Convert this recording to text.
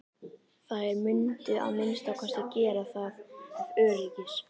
Þær mundu að minnsta kosti gera það ef öryggis